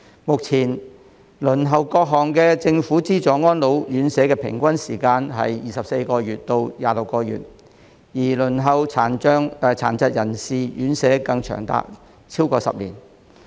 目前輪候各項政府資助安老院舍的平均時間為24個月至26個月，而輪候殘疾人士院舍更長達超過10年。